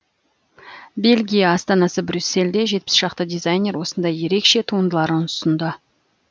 бельгия астанасы брюссельде жетпіс шақты дизайнер осындай ерекше туындыларын ұсынды